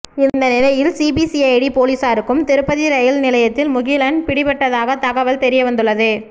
இந்த நிலையில் சிபிசிஐடி போலீசாருக்கும் திருப்பதி ரெயில் நிலையத்தில் முகிலன் பிடிப்பட்டதாக தகவல் தெரியவந்துள்ளது